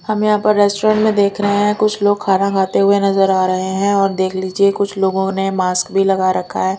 हम यहां पर रेस्टोरेंट में देख रहे हैं कुछ लोग खाना खाते हुए नजर आ रहे हैं और देख लीजिए कुछ लोगों ने मास्क भी लगा रखा है।